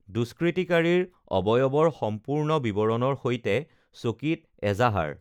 দুষ্কৃতিকাৰীৰ অবয়ৱৰ সম্পূৰ্ণ বিৱৰণৰ সৈতে চকীত এজাহাৰ